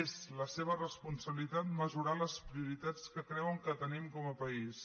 és la seva responsabilitat mesurar les prioritats que creuen que tenim com a país